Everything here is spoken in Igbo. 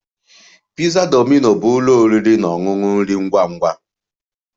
Pizza Domino bụ ụlọ oriri na ọṅụṅụ nri ngwa ngwa